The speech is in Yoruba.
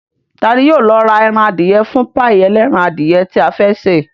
Ta ní yóò lọ ra ẹran adìyẹ fún páì ẹlẹ́ran adìyẹ tí a fẹ́ ṣe